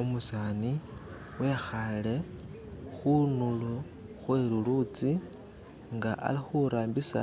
Umusani wekhaale khundulo khwe lulutsi nga ali khurambisa